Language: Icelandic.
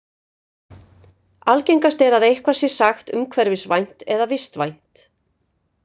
Algengast er að eitthvað sé sagt umhverfisvænt eða vistvænt.